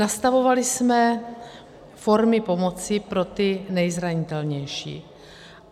Nastavovali jsme formy pomoci pro ty nejzranitelnější.